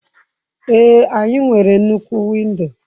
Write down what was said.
Ee, anyị nwere nnukwu windo.